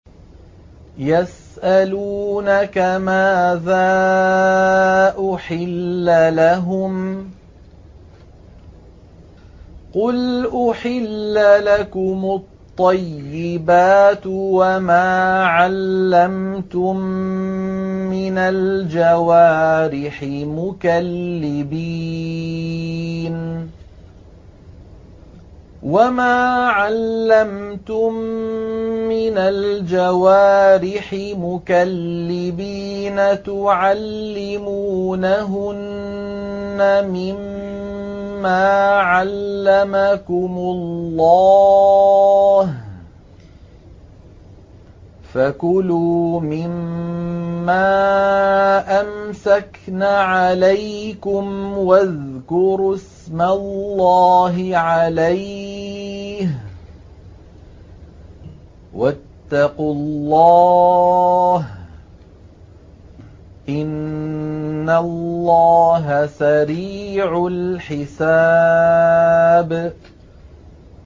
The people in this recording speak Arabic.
يَسْأَلُونَكَ مَاذَا أُحِلَّ لَهُمْ ۖ قُلْ أُحِلَّ لَكُمُ الطَّيِّبَاتُ ۙ وَمَا عَلَّمْتُم مِّنَ الْجَوَارِحِ مُكَلِّبِينَ تُعَلِّمُونَهُنَّ مِمَّا عَلَّمَكُمُ اللَّهُ ۖ فَكُلُوا مِمَّا أَمْسَكْنَ عَلَيْكُمْ وَاذْكُرُوا اسْمَ اللَّهِ عَلَيْهِ ۖ وَاتَّقُوا اللَّهَ ۚ إِنَّ اللَّهَ سَرِيعُ الْحِسَابِ